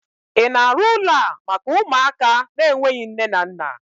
ị na-arụ ụlọ a maka ụmụaka n'enweghi nne na nna?